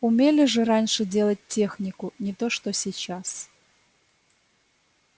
умели же раньше делать технику не то что сейчас